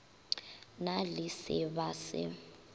na le se ba se